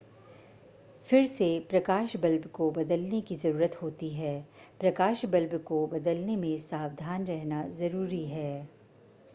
फिर से प्रकाश बल्ब को बदलने की ज़रूरत होती है प्रकाश बल्ब को बदलने में सावधान रहना ज़रूरी है